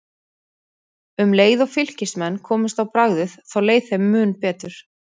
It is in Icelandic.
Um leið og Fylkismenn komust á bragðið þá leið þeim betur.